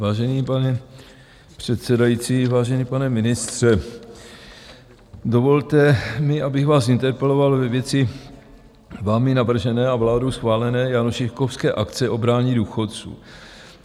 Vážený páni předsedající, vážený pane ministře, dovolte mi, abych vás interpeloval ve věci vámi navržené a vládou schválené jánošíkovské akce obrání důchodců.